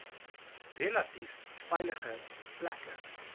relatief veilige plekke